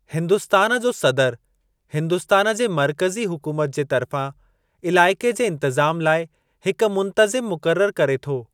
हिन्दुस्तान जो सदरु हिन्दुस्तान जे मर्कज़ी हुकूमत जे तर्फ़ां इलाइक़े जे इंतिज़ाम लाइ हिक मुंतज़िम मुक़ररु करे थो।